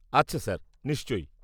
-আচ্ছা স্যার নিশ্চয়ই।